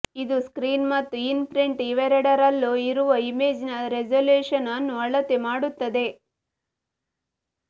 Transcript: ಇದು ಸ್ಕ್ರೀನ್ ಮತ್ತು in print ಇವೆರಡರಲ್ಲೂ ಇರುವ ಇಮೇಜ್ನ ರೆಸಲ್ಯೂಶನ್ ಅನ್ನು ಅಳತೆ ಮಾಡುತ್ತದೆ